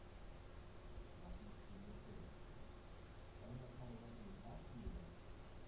Magnús Hlynur Hreiðarsson: Erum við að tala jafnvel um barsmíðar?